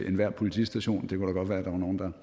enhver politistation det kunne være der var nogen der